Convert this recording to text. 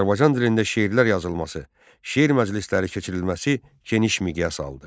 Azərbaycan dilində şeirlər yazılması, şeir məclisləri keçirilməsi geniş miqyas aldı.